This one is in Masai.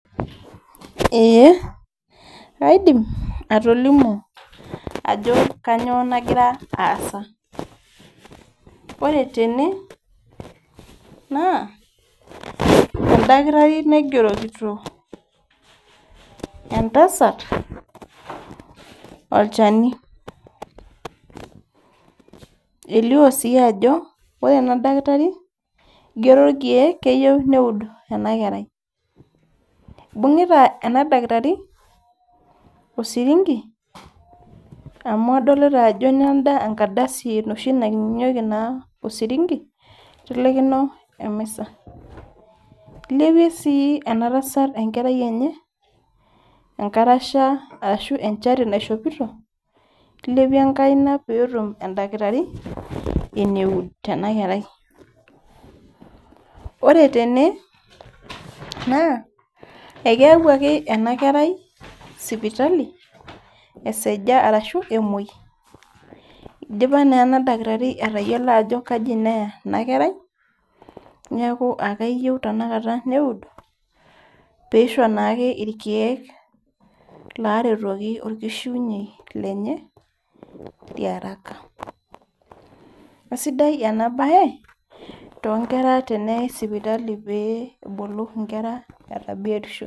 Eeh kaidim atolimu ajo kanyoo nagira aasa ore tene naa endakitari naigerokito entasat olchani elio sii ajo ore ena dakitari igero irkeek keyieu neud ena kerai ibung'ita ena dakitari osiringi amu adolita ajo nenda enkardasi enoshi nakinyunyieki na osiringi itelekino emisa ilepie sii ena tasat enkerai enye enkarasha ashu enchati naishopito ilepie enkaina petum endakitari eneud tena kerai ore tene naa ekeyawuaki ena kerai sipitali eseja arashu emuoi idipa naa ena dakitari atayiolo ajo kaji neya ena kerai niaku akeyieu tena kata neud piisho naake irkeek laretoki orkishiunyiei lenye liaraka asidai ena baye tonkera teneyai sipitali pee ebulu inkera eeta biotisho.